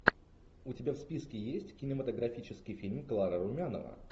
у тебя в списке есть кинематографический фильм клара румянова